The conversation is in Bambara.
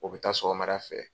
O bɛ taa sɔgɔmara fɛ.